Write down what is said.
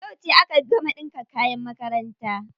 Yauce aka gama ɗinka kayan makaranta?